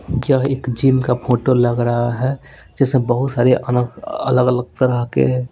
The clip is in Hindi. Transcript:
क्या एक जिम का फोटो लग रहा है जिससे बहुत सारे अलग अलग तरह के--